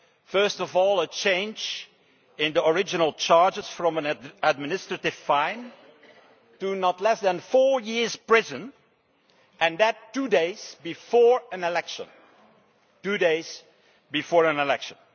First of all, a change in the original charges, a change from an administrative fine to not less than four years' imprisonment and that two days before an election!